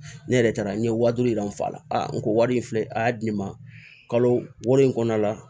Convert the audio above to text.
Ne yɛrɛ taara n ye wa duuru yira n fa la n ko wari in filɛ a y'a di ne ma kalo wɔɔrɔ in kɔnɔna la